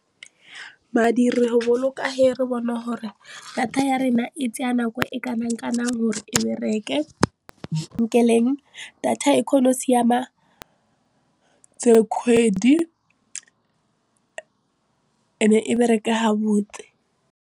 Madi re ho boloka he re bone gore data ya rona e tsaya nako e kanang kanang gore e bereke, data e kgona go siama tse kgwedi e bereke ha botse.